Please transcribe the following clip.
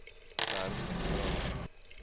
berg vra